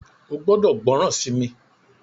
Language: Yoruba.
o gbódò gbóròn sí mí!